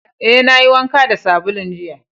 Eh, na yi wanka da sabulun jiya.